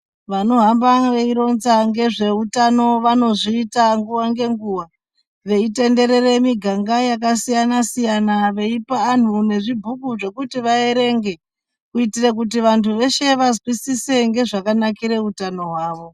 Vanohamba veironza ngezveutano vanozvita nguwa ngenguwa veitenderere miganga yakasiyana siyana veipa anhu nezvi bhuku zvekuti vaerenge, kuitire kuti vantu veshe vazwisise ngezvakanakire utano hwavo.